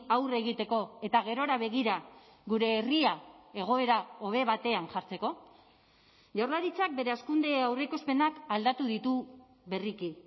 aurre egiteko eta gerora begira gure herria egoera hobe batean jartzeko jaurlaritzak bere hazkunde aurreikuspenak aldatu ditu berriki